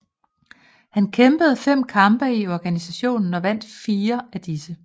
Han kæmpede fem kampe i organisationen og vandt firer af disse